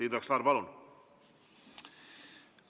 Indrek Saar, palun!